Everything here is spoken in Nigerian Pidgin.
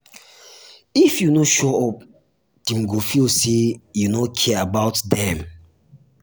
if you no show up dem go feel say you no care about dem.